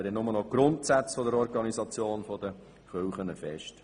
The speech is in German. Der Kanton legt nur noch die Grundsätze der Organisation der Kirchen fest.